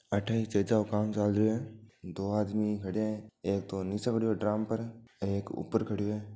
अठे ई चेजा को काम चाल रहियो है दो आदमी खड्या है एक तो नीचे पड़यो है ड्रम पर एक ऊपर खड़यो है।